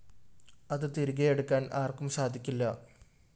അത് തിരികെയെടുക്കാന്‍ ആര്‍ക്കും സാധിക്കില്ല